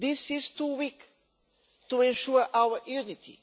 This is too weak to ensure our unity.